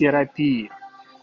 терапии